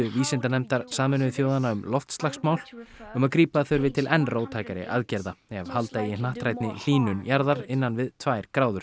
vísindanefndar Sameinuðu þjóðanna um loftslagsmál um að grípa þurfi til enn róttækari aðgerða ef halda eigi hnattrænni hlýnun jarðar innan við tvær gráður